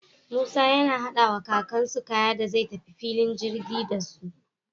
Musa na hada wa kakan su kaya da zai ta fillin girgi dasu